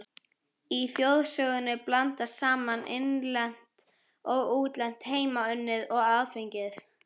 Í þjóðsögunum blandast saman innlent og útlent, heimaunnið og aðfengið.